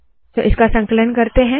तो इसका संकलन करते है